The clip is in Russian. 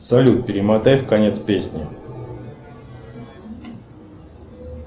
салют перемотай в конец песни